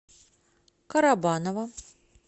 карабаново